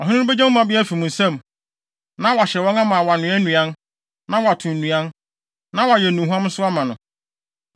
Ɔhene no begye mo mmabea afi mo nsam, na wahyɛ wɔn ama wɔanoa nnuan, na wɔato nnuan, na wɔayɛ nnuhuam nso ama no.